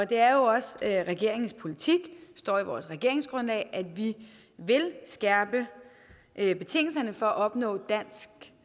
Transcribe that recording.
det er også regeringens politik det står i regeringsgrundlaget at vi vil skærpe betingelserne for at opnå dansk